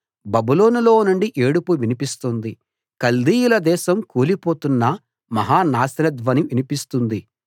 బబులోనులో నుండి ఏడుపు వినిపిస్తుంది కల్దీయుల దేశం కూలిపోతున్న మహా నాశన ధ్వని వినిపిస్తుంది